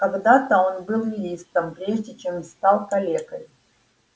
когда-то он был юристом прежде чем стал калекой